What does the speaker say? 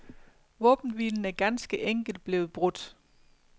Våbenhvilen er ganske enekelt blevet blevet brudt.